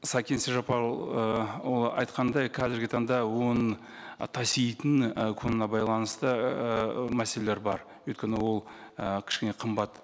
сәкен айтқандай қазіргі таңда оны таситын ы құнына байланысты ыыы мәселелер бар өйткені ол і кішкене қымбат